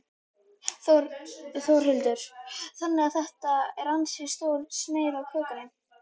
Þórhildur: Þannig að þetta er ansi stór sneið af kökunni?